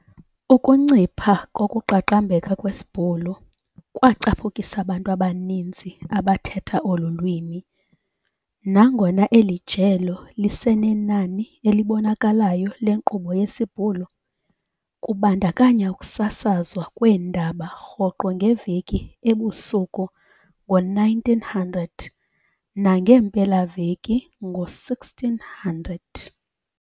Ukuncipha kokuqaqambeka kwesiBhulu kwacaphukisa abantu abaninzi abathetha olu lwimi, nangona eli jelo lisenenani elibonakalayo lenkqubo yesiBhulu, kubandakanya ukusasazwa kweendaba rhoqo ngeveki ebusuku ngo-19:00 nangeempelaveki ngo-18:00.